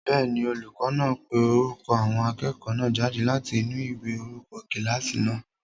Bẹ́ẹ̀ni, olùkọ́ náà ń pe orúkọ àwọn akẹ́kọ̀ọ́ náà jáde láti inú ìwé orúkọ kílásì náà